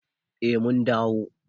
Eh mun dawo.